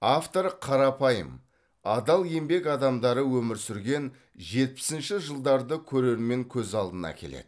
автор қарапайым адал еңбек адамдары өмір сүрген жетпісінші жылдарды көрермен көз алдына әкеледі